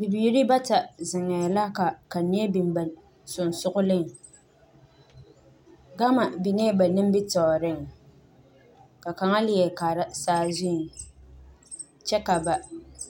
Bibiire bata zeŋɛɛ la ka kanyɛ a biŋ ba seŋsugliŋ gama biŋee ba nimitooreŋ la kaŋa leɛ kaara saazuŋ kyɛvka ba